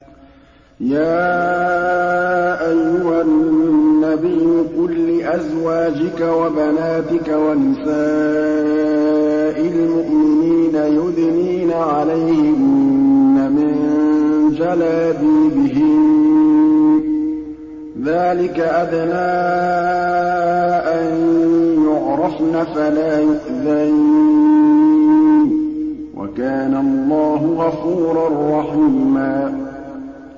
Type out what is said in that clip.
يَا أَيُّهَا النَّبِيُّ قُل لِّأَزْوَاجِكَ وَبَنَاتِكَ وَنِسَاءِ الْمُؤْمِنِينَ يُدْنِينَ عَلَيْهِنَّ مِن جَلَابِيبِهِنَّ ۚ ذَٰلِكَ أَدْنَىٰ أَن يُعْرَفْنَ فَلَا يُؤْذَيْنَ ۗ وَكَانَ اللَّهُ غَفُورًا رَّحِيمًا